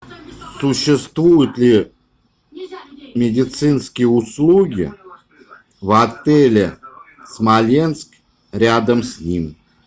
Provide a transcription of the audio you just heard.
существуют ли медицинские услуги в отеле смоленск рядом с ним